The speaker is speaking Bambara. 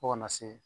Fo kana se